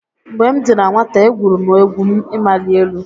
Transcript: Mgbe m dị na nwata, e gwuru m egwu ịmali elu.